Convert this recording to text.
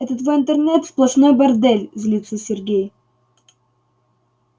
это твой интернет сплошной бордель злится сергей